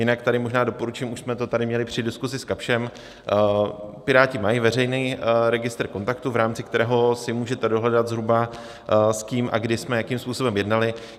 Jinak tady možná doporučím, už jsme to tady měli při diskusi s Kapschem: Piráti mají veřejný registr kontaktů, v rámci kterého si můžete dohledat zhruba, s kým a kdy jsme jakým způsobem jednali.